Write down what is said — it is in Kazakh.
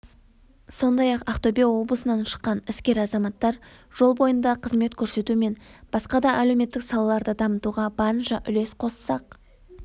сондай-ақ ақтөбе облысынан шыққан іскер азаматтар жол бойында қызмет көрсету мен басқа да әлеуметтік салаларды дамытуға барынша үлес қоспақ